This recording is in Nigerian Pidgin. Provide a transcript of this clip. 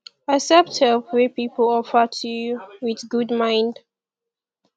accept help wey pipo offer to you with good mind